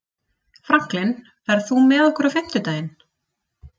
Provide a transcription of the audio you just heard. Franklin, ferð þú með okkur á fimmtudaginn?